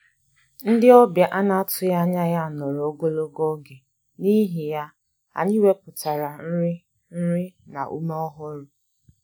Ndị ọbịa a na-atụghị anya ya nọrọ ogologo oge, n'ihi ya, anyị wepụtara nri nri na ume ọhụrụ